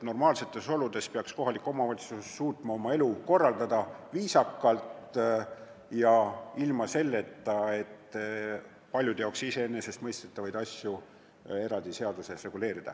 Normaalsetes oludes peaks kohalik omavalitsus suutma oma elu viisakalt korraldada ilma selleta, et paljude jaoks iseenesestmõistetavad asjad on seaduses reguleeritud.